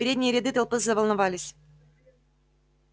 передние ряды толпы заволновались